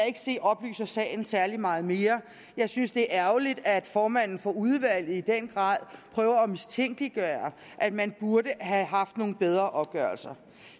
ikke se oplyser sagen særlig meget mere jeg synes det er ærgerligt at formanden for udvalget i den grad prøver at mistænkeliggøre at man burde have haft nogle bedre opgørelser